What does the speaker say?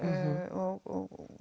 og